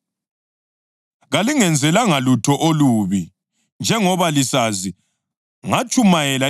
Njengoba lisazi, ngatshumayela ivangeli kini kuqala ngenxa yomkhuhlane.